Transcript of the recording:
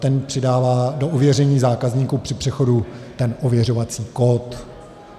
Ten přidává do ověření zákazníků při přechodu ten ověřovací kód.